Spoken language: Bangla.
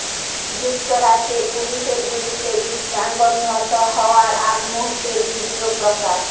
যুক্তরাষ্ট্রে পুলিশের গুলিতে কৃষ্ণাঙ্গ নিহত হওয়ার আগ মুহূর্তের ভিডিও প্রকাশ